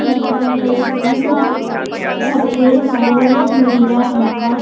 यहाँ पे सफ़ेद और नीला रंग का --